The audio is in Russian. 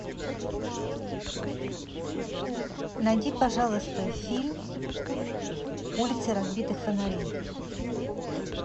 найди пожалуйста фильм улицы разбитых фонарей